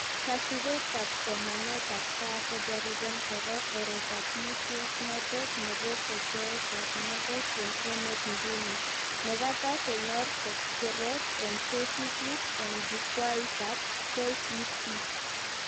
Kasubetab somanetab gaa kojariben koro oretab muswoknotet nebo kotoetab ngalek eng emet nguni, nekata kenyor keret eng tesisyit eng jukwaitab KEC